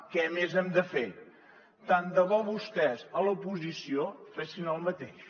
què més hem de fer tant de bo vostès a l’oposició fessin el mateix